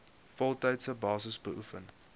voltydse basis beoefen